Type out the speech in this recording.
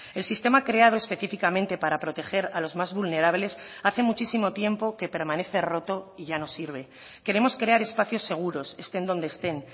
el sistema creado específicamente para proteger a los más vulnerables hace muchísimo tiempo que permanece roto y ya no sirve queremos crear espacios seguros estén donde estén